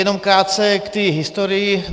Jenom krátce k té historii.